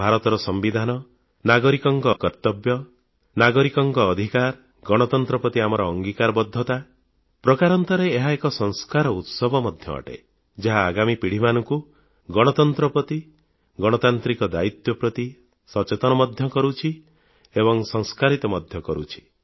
ଭାରତର ସମ୍ବିଧାନ ନାଗରିକଙ୍କ କର୍ତ୍ତବ୍ୟ ନାଗରିକଙ୍କ ଅଧିକାର ଗଣତନ୍ତ୍ର ପ୍ରତି ଆମର ଅଙ୍ଗୀକାରବଦ୍ଧତା ପ୍ରକାରାନ୍ତରେ ଏହା ଏକ ସଂସ୍କାର ଉତ୍ସବ ମଧ୍ୟ ଅଟେ ଯାହା ଆଗାମୀ ପିଢ଼ିମାନଙ୍କୁ ଗଣତନ୍ତ୍ର ପ୍ରତି ଗଣତାନ୍ତ୍ରିକ ଦାୟୀତ୍ୱ ପ୍ରତି ସଚେତନ ମଧ୍ୟ କରୁଛି ଏବଂ ସଂସ୍କାରସମ୍ପନ୍ନ ମଧ୍ୟ କରୁଛି